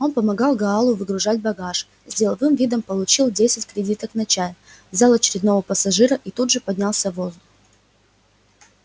он помогал гаалу выгрузить багаж с деловым видом получил десять кредиток на чай взял очередного пассажира и тут же поднялся в воздух